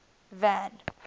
van